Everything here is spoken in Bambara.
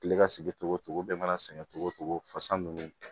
Kile ka sigi togo togo bɛɛ mana sɛgɛn cogo o cogo fasa nunnu